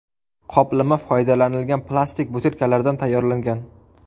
Qoplama foydalanilgan plastik butilkalardan tayyorlangan.